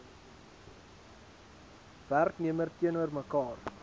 werknemer teenoor mekaar